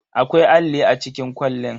Akwai alli a cikin kwalin.